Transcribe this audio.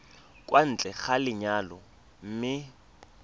kwa ntle ga lenyalo mme